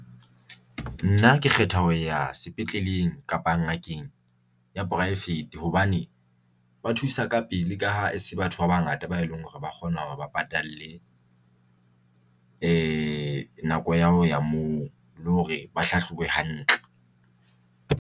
Nna ke kgetha ho ya sepetleleng kapa ngakeng ya poraefete hobane ba thusa ka pele ka ha e se batho ba bangata ba e leng hore ba kgona hore ba patalle nako ya ho ya moo le hore ba hlahlojwe hantle.